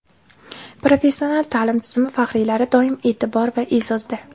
Professional ta’lim tizimi faxriylari doim e’tibor va e’zozda!.